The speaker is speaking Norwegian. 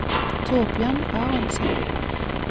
Thorbjørn Aronsen